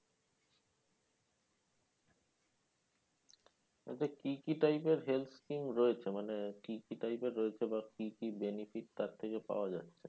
কি কি type এর রয়েছে মানে কি কি type এর রয়েছে বা কি কি benefit তার থেকে পাওয়া যাচ্ছে